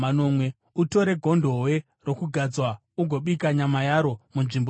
“Utore gondobwe rokugadzwa ugobika nyama yaro munzvimbo tsvene.